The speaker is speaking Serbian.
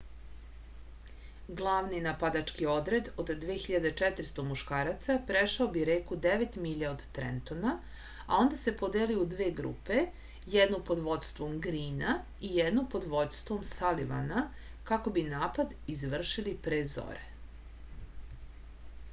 glavni napadački odred od 2400 muškaraca prešao bi reku devet milja od trentona a onda se podelio u dve grupe jednu pod vođstvom grina i jednu pod vođstvom salivana kako bi napad izvršili pre zore